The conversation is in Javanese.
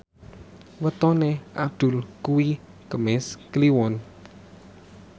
wetone Abdul kuwi Kemis Kliwon